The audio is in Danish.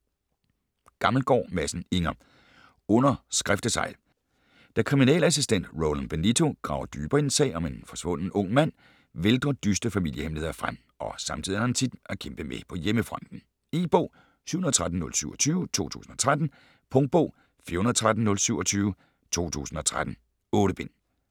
Gammelgaard Madsen, Inger: Under skriftesegl Da kriminalassistent Roland Benito graver dybere i en sag om en forsvunden ung mand vælter dystre familiehemmeligheder frem, og samtidig har han sit at kæmpe med på hjemmefronten. E-bog 713027 2013. Punktbog 413027 2013. 8 bind.